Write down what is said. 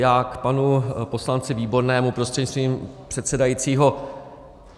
Já k panu poslanci Výbornému prostřednictvím předsedajícího.